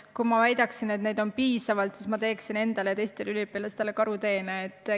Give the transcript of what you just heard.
Kui ma väidaksin, et neid on piisavalt, siis ma teeksin endale ja teistele üliõpilastele karuteene.